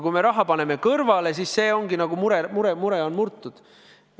Kui me raha paneme kõrvale, siis ongi mure murtud.